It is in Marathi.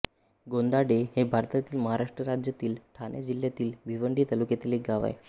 गोंदाडे हे भारतातील महाराष्ट्र राज्यातील ठाणे जिल्ह्यातील भिवंडी तालुक्यातील एक गाव आहे